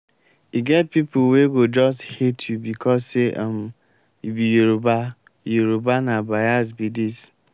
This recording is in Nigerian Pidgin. e get pipo wey go just hate you becos say um you be yoruba be yoruba na bais be dis.